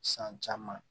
San caman